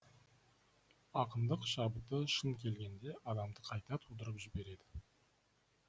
ақындық шабыты шын келгенде адамды қайта тудырып жібереді